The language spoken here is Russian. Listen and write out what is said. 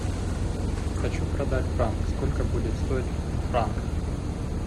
хочу продать франк сколько будет стоить в франках